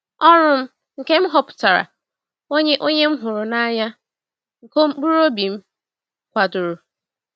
Ọrụ m nke m họpụtara, onye onye m hụrụ n’anya, nke mkpụrụ obi m kwadoro!